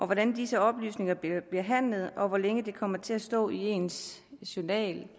hvordan disse oplysninger bliver behandlet hvor længe det kommer til at stå i ens journal